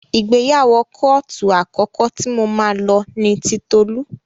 Ìgbéyàwó kóòtù àkọ́kọ́ tí mo máa lọ ni ti Tolú.